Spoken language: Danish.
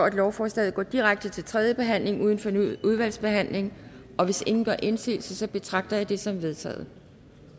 at lovforslaget går direkte til tredje behandling uden fornyet udvalgsbehandling hvis ingen gør indsigelse betragter jeg dette som vedtaget